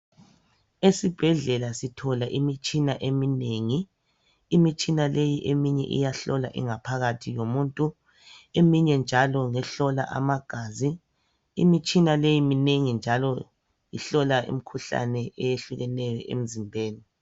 Esibhedlela sithola imitshina eminengi. Imitshina leyi eminye iyahlola ingaphakathi yomuntu, eminye njalo ngehlola amagazi. Imitshina leyi minengi njalo ihlola imkhuhlane eyehlukeneyo emzimbeni.